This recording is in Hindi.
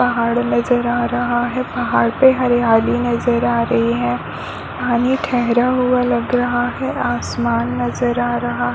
पहाड़ नज़र आ रहा है पहाड़ पे हरयाली नज़र आ रही है पानी ठहरा हुआ लग रहा है आसमान नज़र आ रहा है।